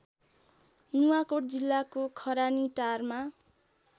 नुवाकोट जिल्लाको खरानीटारमा